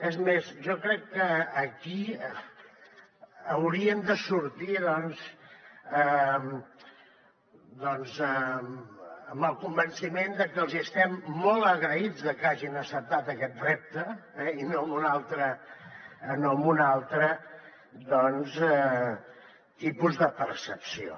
és més jo crec que aquí haurien de sortir amb el convenciment de que els hi estem molt agraïts de que hagin acceptat aquest repte i no amb un altre tipus de percepció